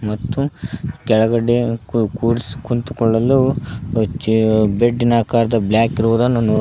ಮತ್ತು ಕೆಳಗಡೆ ಕೂ ಕೂರಿಸಿ ಕುಂತುಕೊಳ್ಳಲು ಚೇ ಬೆಡ್ಡಿನ ಆಕಾರದ ಬ್ಲಾಕ್ ಇರೋದನ್ನು ನೋ--